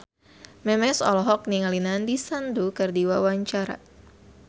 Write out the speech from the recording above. Memes olohok ningali Nandish Sandhu keur diwawancara